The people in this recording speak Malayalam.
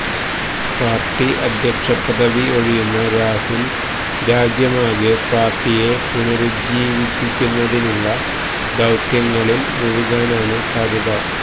പാര്ട്ടി അധ്യക്ഷ പദവി ഒഴിയുന്ന രാഹുല് രാജ്യമാകെ പാര്ട്ടിയെ പുനരുജ്ജീവിപ്പിക്കുന്നതിനുള്ള ദൌത്യങ്ങളില് മുഴുകാനാണ് സാധ്യത